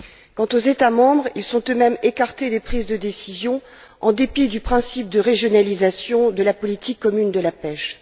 Quant aux États membres, ils sont eux mêmes écartés des prises de décision, en dépit du principe de régionalisation de la politique commune de la pêche.